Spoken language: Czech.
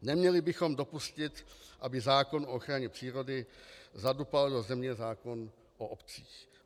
Neměli bychom dopustit, aby zákon o ochraně přírody zadupal do země zákon o obcích.